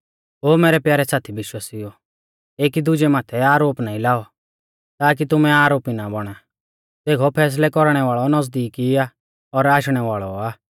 ओ मैरै प्यारै साथी विश्वासिउओ एकी दुजै माथै आरोप नाईं लाऔ ताकी तुमै आरोपी ना बौणा देखौ फैसलै कौरणै वाल़ौ नज़दीक ई आ और आशणै वाल़ौ आ